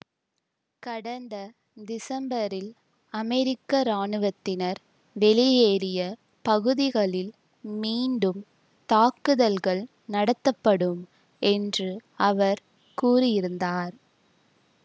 கடந்த திசம்பரில் அமெரிக்க இராணுவத்தினர் வெளியேறிய பகுதிகளில் மீண்டும் தாக்குதல்கள் நடத்தப்படும் என்று அவர் கூறியிருந்தார்